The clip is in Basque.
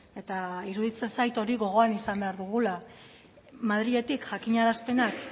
eta iruditzen zait hori gogoan izan behar dugula madriletik jakinarazpenak